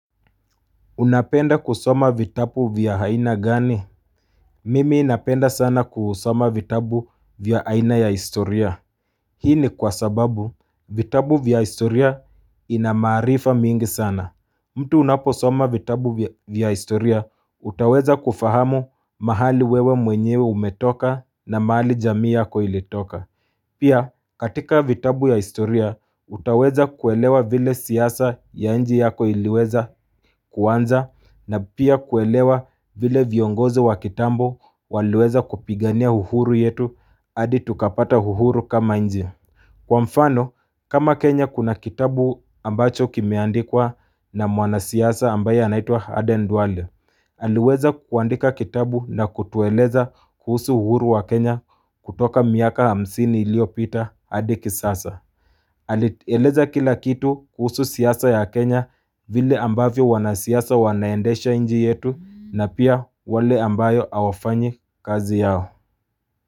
Unapenda kusoma vitabu vya aina gani? Mimi napenda sana kusoma vitabu vya aina ya historia. Hii ni kwa sababu vitabu vya historia inamaarifa mingi sana. Mtu unapo soma vitabu vya historia, utaweza kufahamu mahali wewe mwenyewe umetoka na mahali jamii yako ilitoka. Pia katika vitabu ya historia utaweza kuelewa vile siasa ya nchi yako iliweza kuanza na pia kuelewa vile viongozo wa kitambo waliweza kupigania uhuru yetu adi tukapata uhuru kama nchi. Kwa mfano, kama Kenya kuna kitabu ambacho kimeandikwa na mwana siasa ambaye anaitwa Aden Ndwale, aliweza kuandika kitabu na kutueleza kuhusu uhuru wa Kenya kutoka miaka hamsini iliyopita hadi kisasa. Alieleza kila kitu kuhusu siasa ya Kenya vile ambavyo wanasiasa wanaendesha nchi yetu na pia wale ambao awafanyi kazi yao.